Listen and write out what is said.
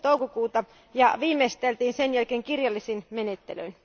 6. toukokuuta ja viimeisteltiin sen jälkeen kirjallisin menettelyin.